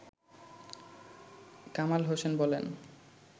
কামাল হোসেন বলেন